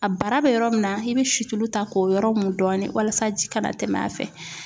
A bara bɛ yɔrɔ min na i bɛ situlu ta k'o yɔrɔ mun dɔɔnin walasa ji kana tɛmɛ a fɛ.